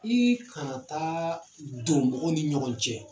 I kana taa don mɔgɔw ni ɲɔgɔn cɛ.